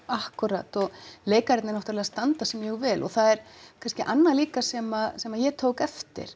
akkúrat og leikararnir náttúrulega standa sig mjög vel og það er kannski annað líka sem sem ég tók eftir